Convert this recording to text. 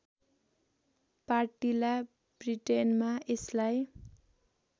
पार्टिला ब्रिटेनमा यसलाई